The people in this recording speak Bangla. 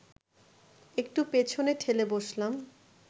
একটু পেছনে ঠেলে বসলাম